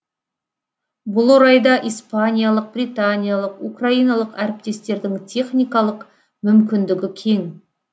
бұл орайда испаниялық британиялық украиналық әріптестердің техникалық мүмкіндігі кең